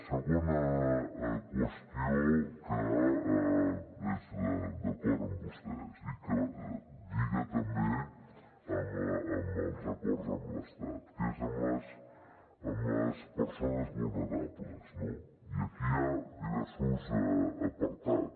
segona qüestió que és d’acord amb vostès i que lliga també amb els acords amb l’estat que és amb les persones vulnerables no i aquí hi ha diversos apartats